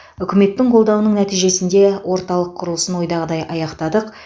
үкіметтің қолдауының нәтижесінде орталық құрылысын ойдағыдай аяқтадық